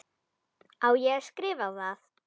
Á ég að skrifa það?